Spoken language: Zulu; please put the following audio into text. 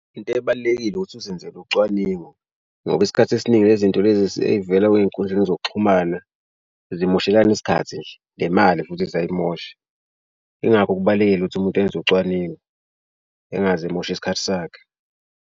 Into ebalulekile ukuthi uzenzele ucwaningo ngoba isikhathi esiningi lezi nto lezi seyivela ey'nkundleni zokuxhumana zimoshelana isikhathi nje nemali futhi ziyayimosha. Yingakho kubalulekile ukuthi umuntu enze ucwaningo engaze emoshe isikhathi sakhe.